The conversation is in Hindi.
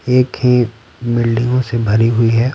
एक ही बिल्डिंगों से भरी हुई है।